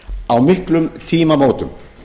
á miklum tímamótum